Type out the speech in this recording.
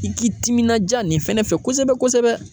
I k'i timinanja nin fɛnɛ fɛ kosɛbɛ kosɛbɛ.